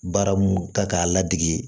Baara mun kan k'a ladege